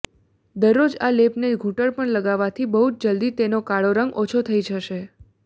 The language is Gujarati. દરરોજ આ લેપને ઘૂંટણ પર લગાવવાથી બહુ જલ્દી તેનું કાળો રંગ ઓછું થઈ જશે